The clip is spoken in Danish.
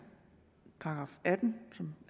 § atten som